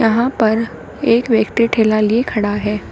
यहां पर एक व्यक्ति ठेला लिए खड़ा है।